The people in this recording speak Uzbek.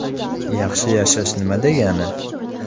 Yaxshi yashash nima degani?